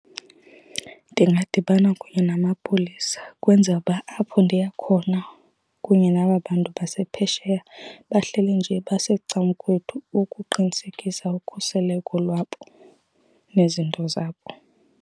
Ndingadibana kunye namapolisa kwenzele uba apho ndiya khona kunye naba bantu basephesheya bahleli nje basecan'kwethu ukuqinisekisa ukhuseleko lwabo nezinto zabo.